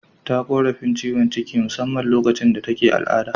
Ta korafin ciwon ciki musamman lokacin da take al'ada.